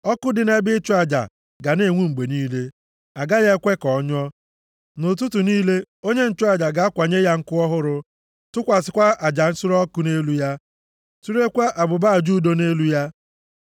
Ọkụ dị nʼebe ịchụ aja ga na-enwu mgbe niile, a gaghị ekwe ka ọ nyụọ. Nʼụtụtụ niile onye nchụaja ga-akwanye ya nkụ ọhụrụ, tụkwasịkwa aja nsure ọkụ nʼelu ya surekwaa abụba aja udo nʼelu ya.